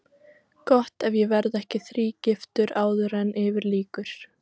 Gott ef ég verð ekki þrígiftur áður en yfir lýkur.